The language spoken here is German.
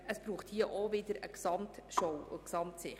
Es braucht auch hier wieder eine Gesamtsicht.